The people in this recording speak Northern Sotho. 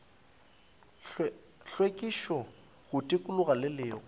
hlwekišo go tikologo le go